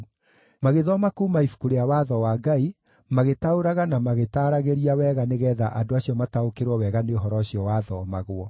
Magĩthoma kuuma Ibuku rĩa Watho wa Ngai, magĩtaũraga na magĩtaaragĩria wega nĩgeetha andũ acio mataũkĩrwo wega nĩ ũhoro ũcio wathomagwo.